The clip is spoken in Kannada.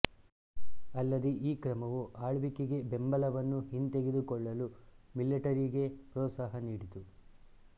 ಅಲ್ಲದೇ ಈ ಕ್ರಮವು ಆಳ್ವಿಕೆಗೆ ಬೆಂಬಲವನ್ನು ಹಿಂತೆಗೆದುಕೊಳ್ಳಲು ಮಿಲಿಟರಿಗೆ ಪ್ರೋತ್ಸಾಹ ನೀಡಿತು